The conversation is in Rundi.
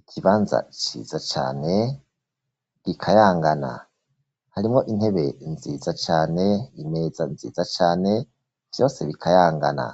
ikibanza ciza cane bikayangana harimwo intebe nziza cane imeza nziza cane vyose bikayangana